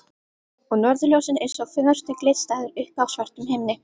Og norðurljósin eins og fegurstu glitslæður uppi á svörtum himni.